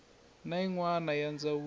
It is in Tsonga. na yin wana ya ndzawulo